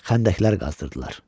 Xəndəklər qazdırdılar.